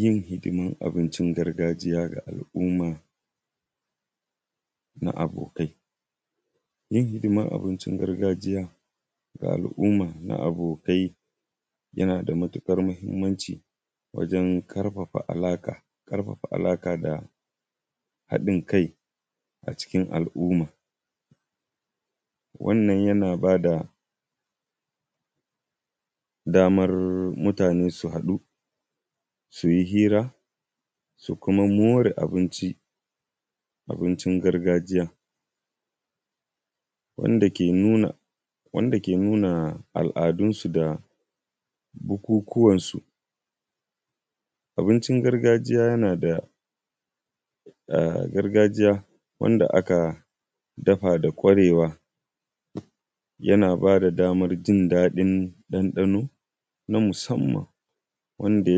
Yin hidimar abincin gargajiya ga al'umma na abokai, yin hidimar abincin gargajiya na abokai ga al'umma na abokai yana da matukar muhimmanci wajen karfafa ala da haɗin kai a cikin al'umma. Wannan yana ba da damar mutane su haɗu su yi hira su kuma more abin gargajiya wanda ke nuna aladunsu da bukukuwansu. Abincin gargajiya yana da wanda aka dafa da ƙwarewa yana ba da damar jin daɗi ɗanɗano na musamman wanda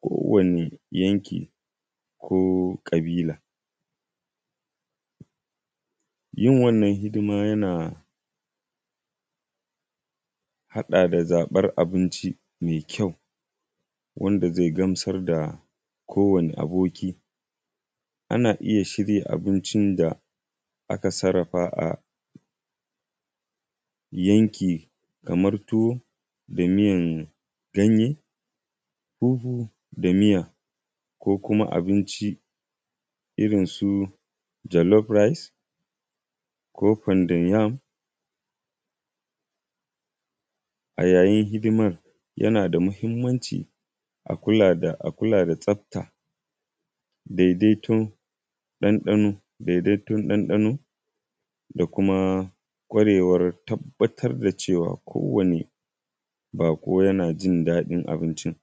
kowane yanki ko ƙabila. Yin wannan hidima yana haɗa da zabar abinci mai ƙyau wanda zai gamsar da kowane aboki ,ana iya shirya abinci aka sarrafa a yankin kamar tuwa da miyar ganye, fufu da miya ko kuma abinci Irinsu jelof rice ko founded yam. A yayin hidimar Yana da muhimmanci a kula da tsafta daidaiton ɗanɗano da kuma ƙwarewar tabbata da cewar kowanne bako yana jin daɗin abincin.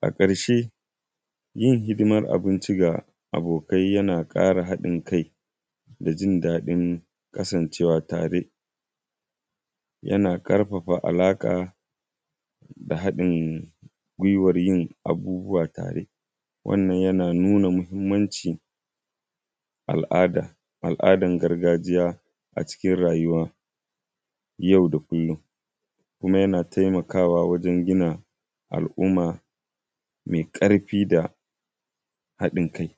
A ƙarshe yin hidimar abinci ga abokai yana ƙara haɗin kai da jin daɗin kasancewa tare. Yana karfafa alaƙa da haɗin guiwar yiin abubuwa a tare. Wannan yana nuna muhimmanci al'adar gargajiya a cikin rayuwa yau da kullum, kuma yana taimakawa wajen gina al'umma mai ƙarfi da haɗin kai.